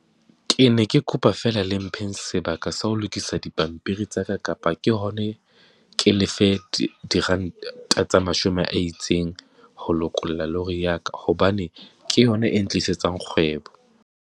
Ke ne ke kopa feela le mpheng sebaka sa ho lokisa dipampiri tsa ka, kapa ke hone ke le fe diranta tsa mashome a itseng ho lokolla lori ya ka, hobane ke yona e ntlisetsa kgwebo.